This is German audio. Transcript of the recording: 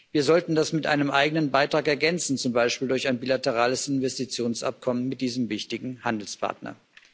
Wir sollten das mit einem eigenen Beitrag ergänzen, zum Beispiel durch ein bilaterales Investitionsabkommen mit diesem wichtigen Handelspartner.